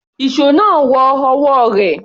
Ìṣó náà wọ ọwọ́ rẹ̀.